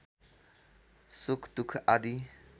सुख दुख आदि